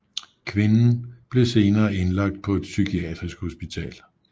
Kvinden blev senere indlagt på et psykiatrisk hospital